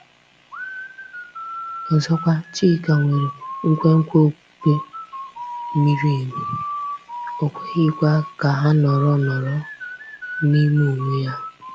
Ọzọkwa, Chika nwere nkwenkwe okpukpe miri emi, o kweghịkwa ka ha nọrọ nọrọ n’ime onwe ya.